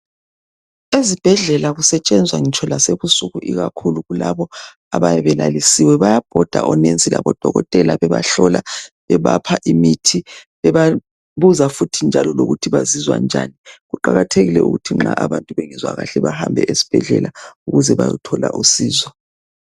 Ezibhedlela kusetshenzwa ngitsho lasebusuku ikakhulu kulabo abayabe belalisiwe. Bayabhoda o"nurse" labodoketala bebahlola, bebapha imithi bebabuza futhi njalo lokuthi bazizwa njani. Kuqakathekile ukuthi nxa abantu bengezwa kahle bahambe esibhedlela ukuze bayothola usizo.